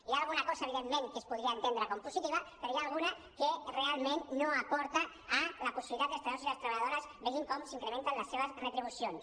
hi ha alguna cosa evidentment que es podria entendre com a positiva però n’hi ha alguna que realment no aporta la possibilitat que els treballadors i les treballadores vegin com s’incrementen les seves retribucions